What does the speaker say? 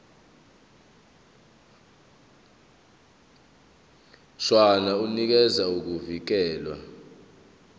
mshwana unikeza ukuvikelwa